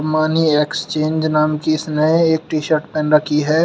Money exchange नाम की इसने एक टी शर्ट पेहन रखी है।